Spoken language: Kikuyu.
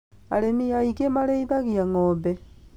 Arĩmi aingĩ marĩithagia ng'ombe